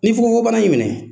Ni fukonfokon bana y'i minɛ